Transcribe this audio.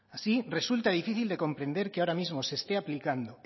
así resulta difícil de comprender que ahora mismo se esté aplicando